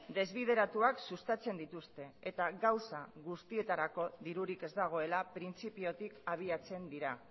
desbideratuak sustatzen dituzte eta gauza guztietarako dirurik ez dagoela printzipiotik abiatzen dira